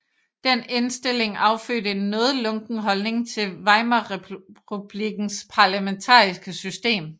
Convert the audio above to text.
Den indstilling affødte en noget lunken holdning til Weimarrepublikkens parlamentariske system